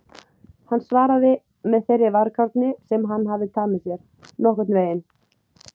Hann svaraði með þeirri varkárni sem hann hafði tamið sér: Nokkurn veginn